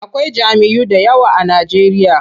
Akwai jam'iyyu da yawa a Najeriya.